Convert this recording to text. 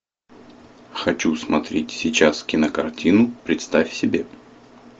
хочу смотреть сейчас кинокартину представь себе